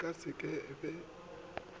e ka se ke be